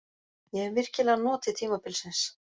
Ég hef virkilega notið tímabilsins.